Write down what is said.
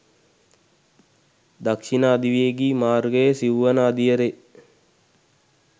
දක්ෂිණ අධිවේගී මාර්ගයේ සිව්වන අදියරේ